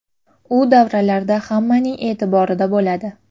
U davralarda hammaning e’tiborida bo‘ladi.